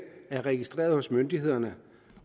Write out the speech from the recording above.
er registreret hos myndighederne